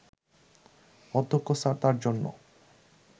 অধ্যক্ষ স্যার তার জন্য